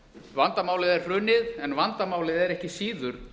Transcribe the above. vandamálið er hrunið en vandamálið er ekki síður